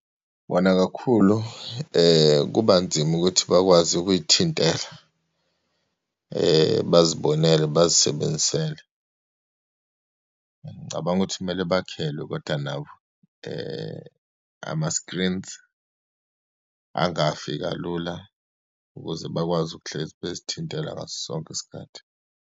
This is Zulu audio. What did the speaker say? Wona kakhulu kuba nzima ukuthi bakwazi ukuyithintela, bazibonele bazisebenzisele. Ngicabanga ukuthi kumele bakhelwe kodwa nabo ama-screens angafi kalula ukuze bakwazi ukuhlezi bezithintela ngaso sonke isikhathi.